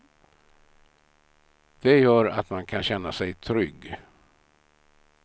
Det gör att man kan känna sig trygg.